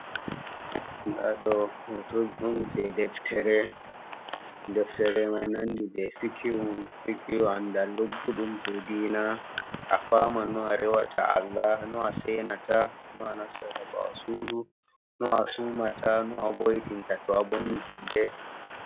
Nda ɗo hoto'on je Deftere, deftare mai nandi jei Fikihu, fikihu andal lugguɗum je dina. Afaman no arewata Alla, no asenata no anastata nda basuru nu a sumata nu a boyitin tattwabonni julde